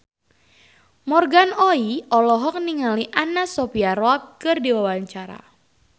Morgan Oey olohok ningali Anna Sophia Robb keur diwawancara